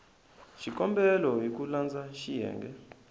xikombelo hi ku landza xiyenge